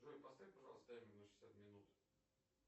джой поставь пожалуйста таймер на шестьдесят минут